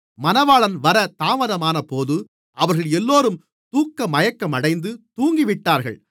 மணவாளன் வரத் தாமதமானபோது அவர்கள் எல்லோரும் தூக்கமயக்கமடைந்து தூங்கிவிட்டார்கள்